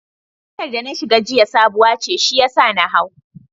Motar da na shiga jiya sabuwa ce shiyasa na hau.